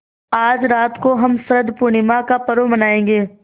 आज रात को हम शरत पूर्णिमा का पर्व मनाएँगे